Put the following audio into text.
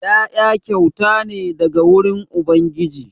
Ƴaƴa kyauta ne daga wurin ubangiji.